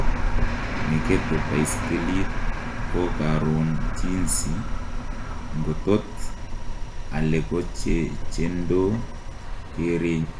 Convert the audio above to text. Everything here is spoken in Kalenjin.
Nekete baiskelit kokaron jinsi ngotot alekochechendo kerenyin.